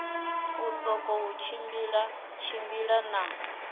u sokou tshimbila tshimbila na